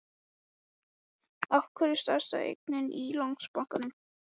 Af hverju stærsta eignin í Landsbankanum var seld út úr?